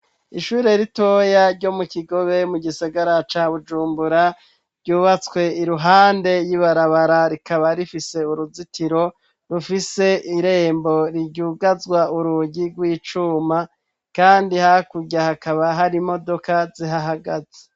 ishure ritoya ryo mu kigobe mu gisagara ca bujumbura ryubatswe iruhande y'ibarabara rikaba rifise uruzitiro rufise irembo riryugazwa urugi rw'icuma kandi hakurya hakaba hari imodoka zihahagaze